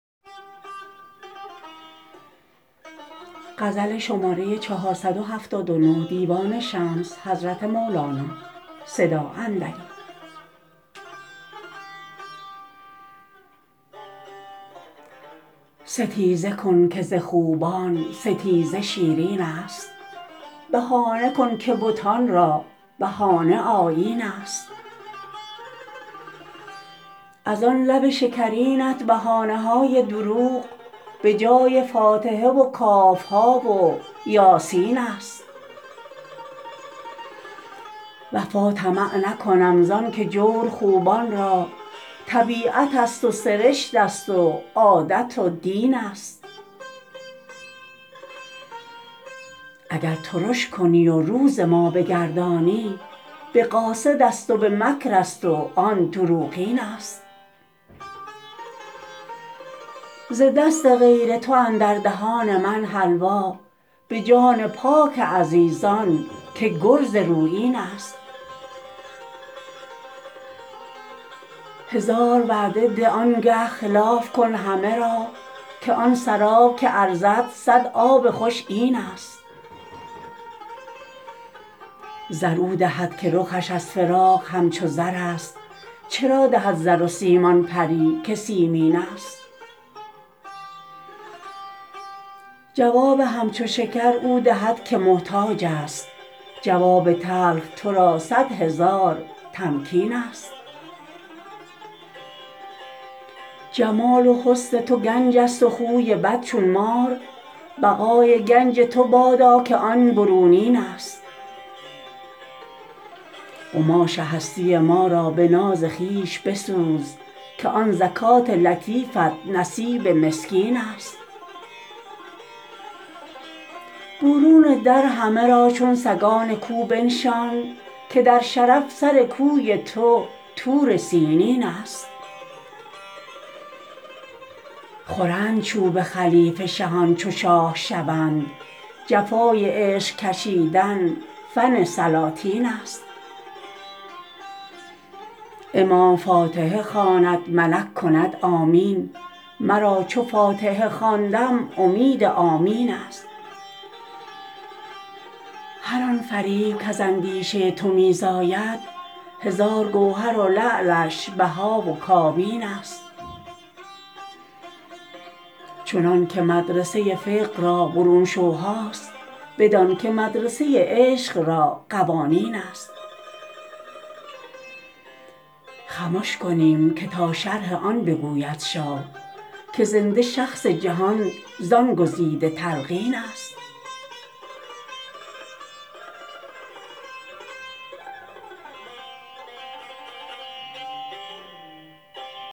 ستیزه کن که ز خوبان ستیزه شیرینست بهانه کن که بتان را بهانه آیینست از آن لب شکرینت بهانه های دروغ به جای فاتحه و کاف و ها و یاسین است وفا طمع نکنم زانک جور خوبان را طبیعت است و سرشت است و عادت و دینست اگر ترش کنی و رو ز ما بگردانی به قاصد است و به مکر است و آن دروغینست ز دست غیر تو اندر دهان من حلوا به جان پاک عزیزان که گرز رویینست هزار وعده ده آنگه خلاف کن همه را که آن سراب که ارزد صد آب خوش اینست زر او دهد که رخش از فراق همچو زر است چرا دهد زر و سیم آن پری که سیمینست جواب همچو شکر او دهد که محتاج است جواب تلخ تو را صد هزار تمکینست جمال و حسن تو گنج است و خوی بد چون مار بقای گنج تو بادا که آن برونینست قماش هستی ما را به ناز خویش بسوز که آن زکات لطیفت نصیب مسکینست برون در همه را چون سگان کو بنشان که در شرف سر کوی تو طور سینینست خورند چوب خلیفه شهان چو شاه شوند جفای عشق کشیدن فن سلاطین است امام فاتحه خواند ملک کند آمین مرا چو فاتحه خواندم امید آمینست هر آن فریب کز اندیشه تو می زاید هزار گوهر و لعلش بها و کابینست چنانک مدرسه فقه را برون شوها است بدانک مدرسه عشق را قوانینست خمش کنیم که تا شرح آن بگوید شاه که زنده شخص جهان زان گزیده تلقینست